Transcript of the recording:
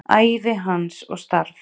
Ævi hans og starf.